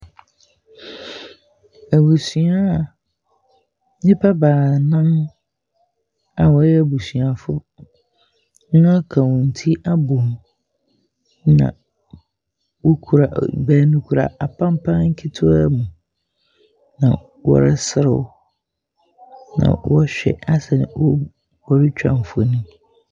Abusua nipa baanan a ɔyɛ abusua foɔ naka wɔn ti abɔ mu na ɔkura apanpan ketewa mu na ɔresre wo na asɛ ɔretwa mfonini.